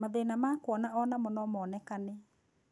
Mathĩna ma kuona onamo nomonekane